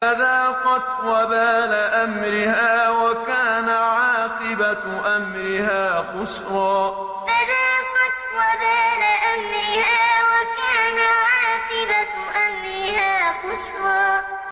فَذَاقَتْ وَبَالَ أَمْرِهَا وَكَانَ عَاقِبَةُ أَمْرِهَا خُسْرًا فَذَاقَتْ وَبَالَ أَمْرِهَا وَكَانَ عَاقِبَةُ أَمْرِهَا خُسْرًا